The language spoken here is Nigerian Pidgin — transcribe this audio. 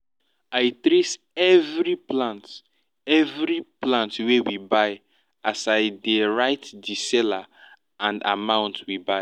i trace every plant every plant wey we buy as i dey write di seller and amount we buy